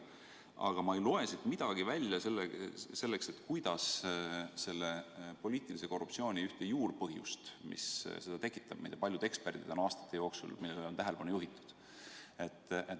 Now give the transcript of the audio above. Aga ma ei loe siit midagi välja sellest, kuidas kavatsetakse võidelda poliitilise korruptsiooni juurpõhjusega, millele paljud eksperdid on aastate jooksul tähelepanu juhtinud.